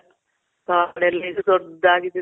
ಕಾಡಲ್ಲಿ